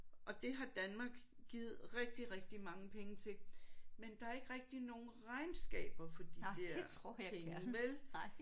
Og det har Danmark givet rigtig rigtig mange penge til men der er ikke rigtig nogen regnskaber for de der penge vel